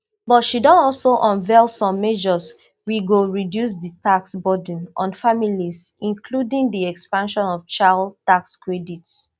but she don also unveil some measures wey go reduce di tax burden on families including di expansion of child tax credits